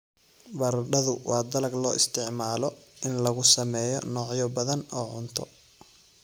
Baradhadu waa dalag loo isticmaalo in lagu sameeyo noocyo badan oo cunto.